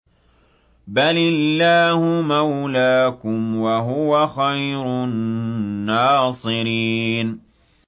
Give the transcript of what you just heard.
بَلِ اللَّهُ مَوْلَاكُمْ ۖ وَهُوَ خَيْرُ النَّاصِرِينَ